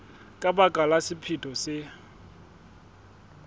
ka baka la sephetho se